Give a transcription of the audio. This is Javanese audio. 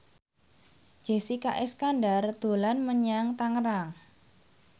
Jessica Iskandar dolan menyang Tangerang